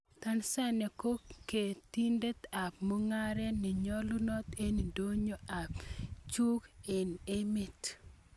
Tanzania koketindet ab mungaret nenyolunot eng ndonyo ab njuguk eng' emet.